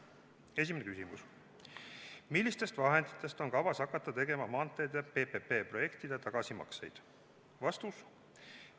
Esimene küsimus: "Millistest vahenditest on kavas hakata tegema maanteede PPP projektide tagasimakseid?